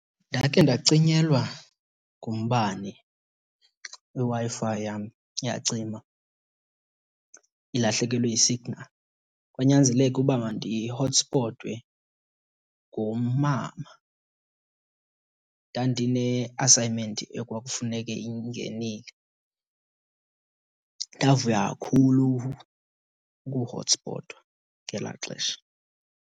Ndakhe ndacinyelwa ngumbane, iWi-Fi yam yacima ilahlekelwe yi-signal. Kwanyanzeleka uba mandihotspotwe ngumama. Ndandine-assignment ekwakufuneke ingenile. Ndavuya kakhulu ukuhotspotwa ngelaa xesha.